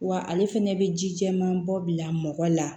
Wa ale fɛnɛ bɛ ji jɛman bɔ bila mɔgɔ la